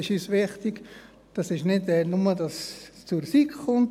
Es ist uns wichtig, dass es nicht nur zur SiK kommt.